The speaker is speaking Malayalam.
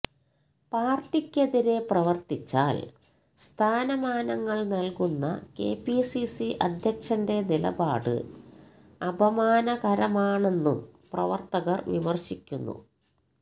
പാര്ട്ടിക്കെതിരെ പ്രവര്ത്തിച്ചാല് സ്ഥാനമാനങ്ങള് നല്കുന്ന കെപിസിസി അധ്യക്ഷന്റെ നിലപാട് അപമാനകരമാണെന്നും പ്രവര്ത്തകര് വിമര്ശിക്കുന്നു